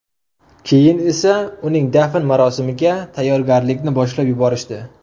Keyin esa uning dafn marosimiga tayyorgarlikni boshlab yuborishdi.